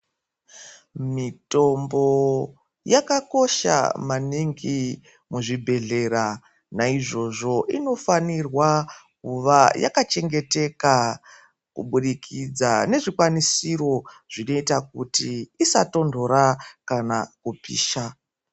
Mitombo yakakosha maningi muzvibhedhlera ,nayizvozvo inofanirwa kuva yakachengeteka kubudikidza nezvikwanisiro zvinoyita kuti isatondora kana kupisha.